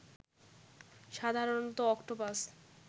সাধারণত অক্টোপাস